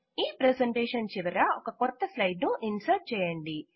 ఈ ప్రెసెంటేషన్ చివర ఒక క్రొత్త స్లైడ్ ను ఇన్సర్ట్ చేయండి